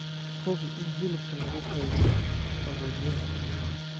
Hubi in hilibka lagu keydiyo qaboojiyaha.